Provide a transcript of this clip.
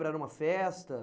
Era uma festa?